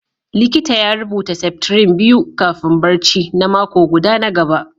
likita ya rubuta septrin biyu kafin barci na mako guda na gaba